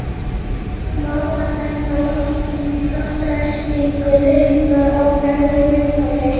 Má þar nefna loftræstingu, þrifnað og fegrun umhverfis.